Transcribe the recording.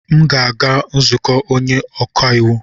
M ga-aga nzukọ onye ọka iwu.